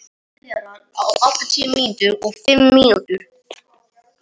Tvíræð orð hennar snertu við snöggum bletti.